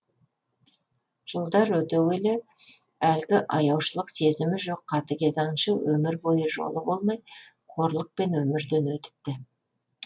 жылдар өте келе әлгі аяушылық сезімі жоқ қатігез аңшы өмір бойы жолы болмай қорлықпен өмірден өтіпті